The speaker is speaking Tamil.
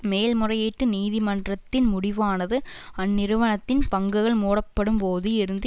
மேல்முறையீட்டு நீதிமன்றத்தின் முடிவானது அந்நிறுவனத்தின் பங்குகள் மூடப்படும்போது இருந்த